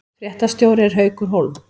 Fréttastjóri er Haukur Hólm